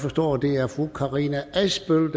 forstår at det er fru karina adsbøl